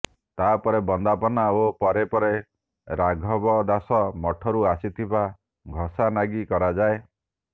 ତା ପରେ ବନ୍ଦାପନା ଓ ପରେ ପରେ ରାଘବଦାସ ମଠରୁ ଆସିଥିବା ଘଷା ନାଗି କରାଯାଏ